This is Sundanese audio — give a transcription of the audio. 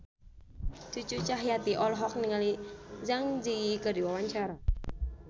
Cucu Cahyati olohok ningali Zang Zi Yi keur diwawancara